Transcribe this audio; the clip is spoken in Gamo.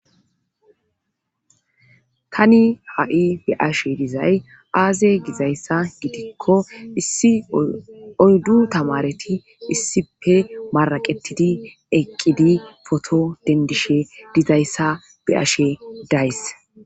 tani ha7i be7ashe dizay aaze gizayssa gidikko issi oyddu tamareti issipe maraqetidi eqqidi foto dendishe dizayssa be ashe days